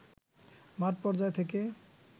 মাঠ পর্যায় থেকে